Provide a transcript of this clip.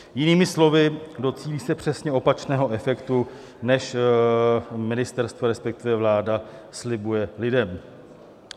Jinými slovy, docílí se přesně opačného efektu než ministerstvo, respektive vláda slibuje lidem.